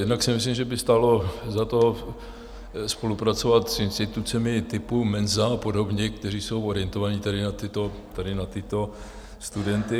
Jednak si myslím, že by stálo za to, spolupracovat s institucemi typu Menza a podobně, které jsou orientované tady na tyto studenty.